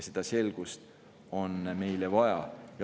Seda selgust on meile vaja.